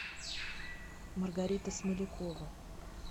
маргарита смолякова